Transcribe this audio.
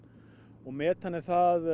og metan er það